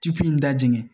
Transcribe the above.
Tipi in da jɛngɛ